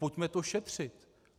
Pojďme to šetřit.